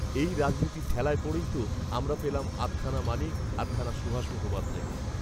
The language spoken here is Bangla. এই রাজনীতির ঠেলায় পড়েই তো আমরা পেলাম আধখানা মানিক আধখানা সুভাষ মুখোপাধ্যায়কে